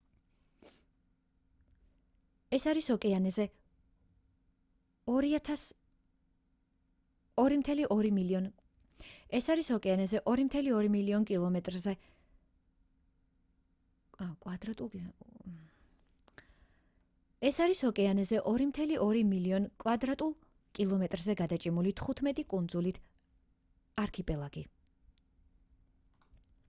ეს არის ოკეანეზე 2.2 მილიონ კმ2-ზე გადაჭიმული 15 კუნძულით არქიპელაგი